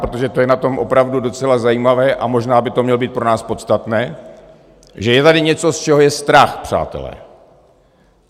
Protože to je na tom opravdu docela zajímavé a možná by to mělo být pro nás podstatné, že je tady něco, z čeho je strach, přátelé.